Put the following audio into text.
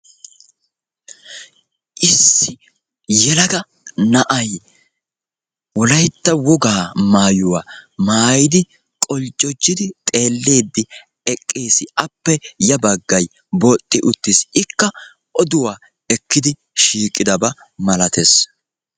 Issi yelaga na"ay wolayitta wogaa maayuwa maayidi quljjujjidi xeelliidi eqqiisi. Appe ya baggay booxi uttis. Ikka oduwa ekkidi shiiqidaba malates.